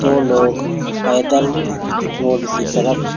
दो लोग पैदल रोड कि तरफ--